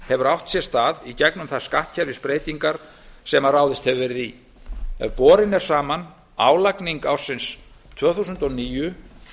hefur átt sér stað í gegnum þær skattkerfisbreytingar sem ráðist hefur verið í ef borin er saman álagning ársins tvö þúsund og níu